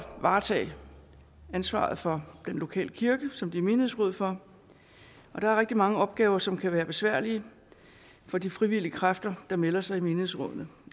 varetage ansvaret for den lokale kirke som de er menighedsråd for og der er rigtig mange opgaver som kan være besværlige for de frivillige kræfter der melder sig i menighedsrådene